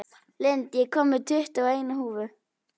Lind, ég kom með tuttugu og eina húfur!